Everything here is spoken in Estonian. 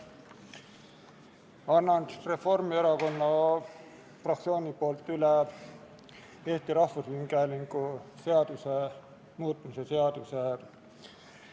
Annan Reformierakonna fraktsiooni nimel üle Eesti Rahvusringhäälingu seaduse muutmise seaduse eelnõu.